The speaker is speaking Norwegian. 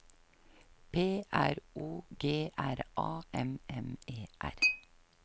P R O G R A M M E R